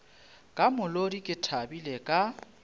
ka molodi ke thabile ka